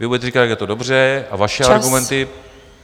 Vy budete říkat, jak je to dobře, a vaše argumenty...